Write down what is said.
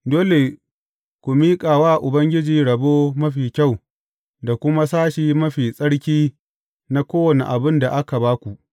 Dole ku miƙa wa Ubangiji rabo mafi kyau da kuma sashi mafi tsarki na kowane abin da aka ba ku.’